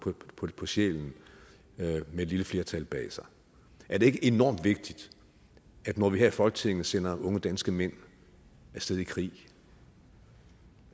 på sjælen med et lille flertal bag sig er det ikke enormt vigtigt at når vi her i folketinget sender unge danske mænd af sted i krig